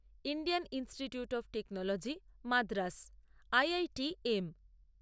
Indian Institute of Technology Madras IITM